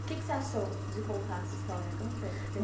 O que é que você achou de contar essa história? Como foi